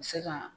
Se ka